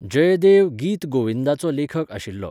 जयदेव गीत गोविंदाचो लेखक आशिल्लो.